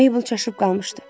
Mabel çaşıb qalmışdı.